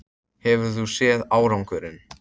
Hefurðu séð árangurinn?